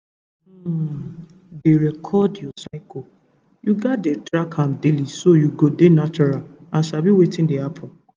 to um dey record your cycle you gats dey track am daily so you go dey natural and sabi wetin dey happen